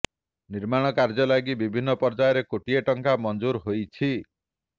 ନିର୍ମାଣ କାର୍ଯ୍ୟ ଲାଗି ବିଭିନ୍ନ ପର୍ଯ୍ୟାୟରେ କୋଟିଏ ଟଙ୍କା ମଂଜୁର ହୋଇଛି